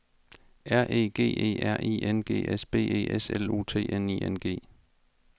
R E G E R I N G S B E S L U T N I N G